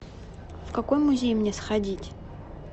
в какой музей мне сходить